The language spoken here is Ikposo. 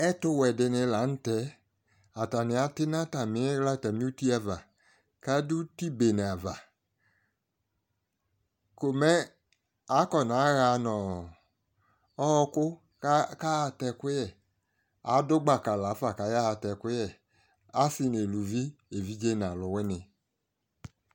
Ɛtʋ wɛ di ni la nʋ tɛ Atani ati nʋ atami ɣla atami uti ava ka dʋ uti bene ava Ko mɛ akɔnaɣa nʋ ɔɔkʋ kayaatɛ ɛkʋyɛ Adʋ gbaka la fa kayaɣa atɛ ɛkʋyɛ, asi nʋ elʋvi, evidze nʋ alʋwini